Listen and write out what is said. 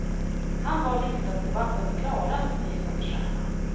Han var riksdagsdebattens klarast lysande stjärna.